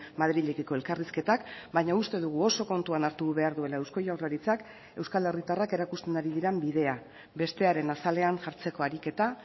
madrilekiko elkarrizketak baina uste dugu oso kontuan hartu behar duela eusko jaurlaritzak euskal herritarrak erakusten ari diren bidea bestearen azalean jartzeko ariketa